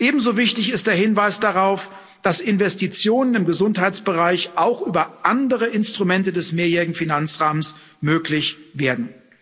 ich. Ebenso wichtig ist der Hinweis darauf, dass Investitionen im Gesundheitsbereich auch über andere Instrumente des Mehrjährigen Finanzrahmens möglich werden.